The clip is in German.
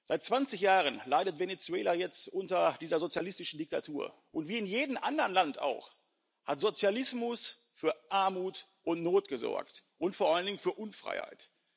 Seit 20 Jahren leidet Venezuela jetzt unter dieser sozialistischen Diktatur, und wie in jedem anderen Land auch hat Sozialismus für Armut und Not gesorgt und vor allen Dingen für Unfreiheit.